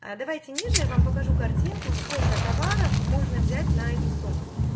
а давайте ниже я вам покажу картинку сколько товаров можно взять на эту сумму